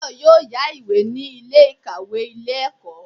Táyọ̀ yóò yá ìwé ní Ilé ìkàwé Ilé ẹ̀kọ́